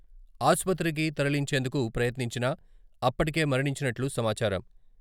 ఆసుపత్రికి తరలించేందుకు ప్రయత్నించినా అప్పటికే మరణించినట్లు సమాచారం.